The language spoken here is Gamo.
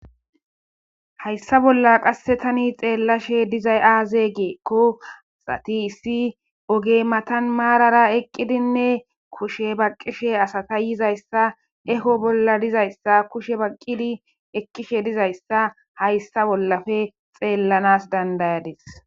Hayssa bolla qasse tani xeellashe dizay aaze geekko xatisi ogey matan maarara eqqidinne kushe baqqishe asata yizayssa eho bolla dizayssa kushe baqqidi ekkishe dizayssa hayssa bollafe xeellanas dandayades